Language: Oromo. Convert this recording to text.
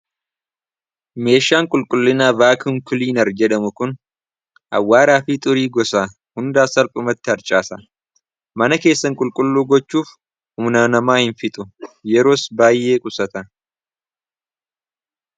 Meeshaan qulqullina vaak unkuliinar jedhamu kun awwaaraafii xurii gosa hundaa salphumatti harcaasa mana keessan qulqulluu gochuuf humna namaa hin fixu yeroos baay'ee qusata.